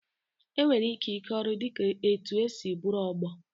Enwere ike ịke ọrụ dị ka etu e si bụrụ ọgbọ